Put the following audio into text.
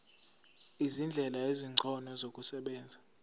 izindlela ezingcono zokusebenza